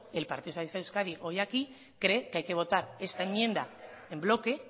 el partido socialistas de euskadi hoy aquí cree que hay que votar esta enmienda en bloque